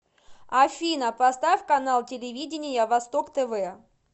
афина поставь канал телевидения восток тв